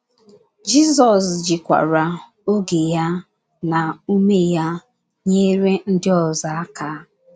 Jizọs jikwara oge ya na ume ya, nyere ndị ọzọ aka.